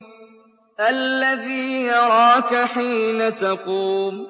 الَّذِي يَرَاكَ حِينَ تَقُومُ